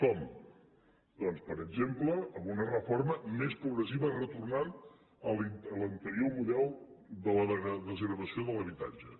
com doncs per exemple amb una reforma més progressiva retornant a l’anterior model de la desgravació de l’habitatge